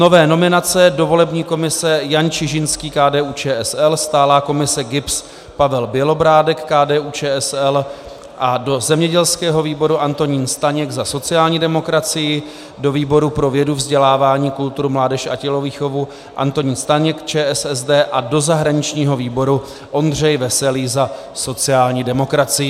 Nové nominace: do volební komise Jan Čižinský, KDU-ČSL, stálá komise GIBS Pavel Bělobrádek, KDU-ČSL, a do zemědělského výboru Antonín Staněk za sociální demokracii, do výboru pro vědu, vzdělávání, kulturu, mládež a tělovýchovu Antonín Staněk, ČSSD, a do zahraničního výboru Ondřej Veselý za sociální demokracii.